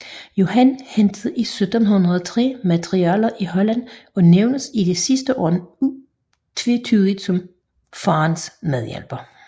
Johan hentede 1703 materialer i Holland og nævnes i de sidste år utvetydigt som faderens medhjælper